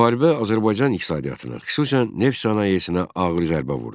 Müharibə Azərbaycan iqtisadiyyatına, xüsusən neft sənayesinə ağır zərbə vurdu.